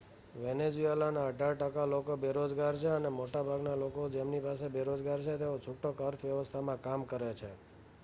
વેનેઝુએલાના અઢાર ટકા લોકો બેરોજગાર છે અને મોટાભાગના લોકો જેમની પાસે રોજગાર છે તેઓ છૂટક અર્થવ્યવસ્થામાં કામ કરે છે